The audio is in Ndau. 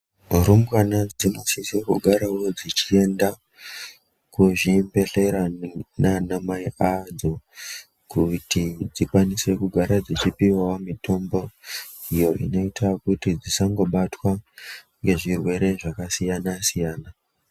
Mirumbwane dzinosise kugarawo dzechiende kuzvibhedhlera nana mai adzo kuti dzikwanise kugara dzechipuwawo mitombo, iyo inoita kuti dzisangobatwa ngezvirwere zvakasiyana-siyana.